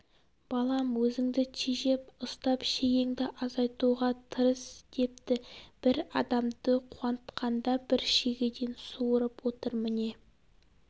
балам өзіңді тежеп ұстап шегеңді азайтуға тырыс депті бір адамды қуантқанда бір шегеден суырып отыр міне